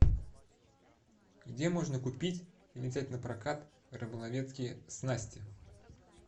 где можно купить или взять напрокат рыболовецкие снасти